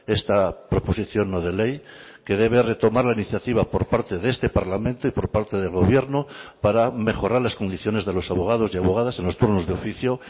esta proposición no de ley que debe retomar la iniciativa por parte de este parlamento y por parte del gobierno para mejorar las condiciones de los abogados y abogadas en los turnos de oficio